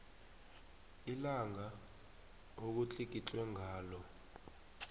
ilanga okutlikitlwe ngalo